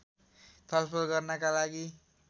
छलफल गर्नका लागि